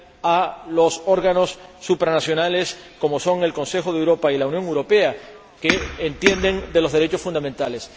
a los órganos supranacionales, como son el Consejo de Europa y la Unión Europea, que entienden de los derechos fundamentales.